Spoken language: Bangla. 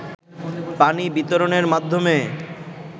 পানি বিতরণের মাধ্যমে